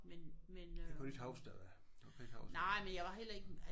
Det kan du ikke huske eller hvad? Du kan ikke huske det?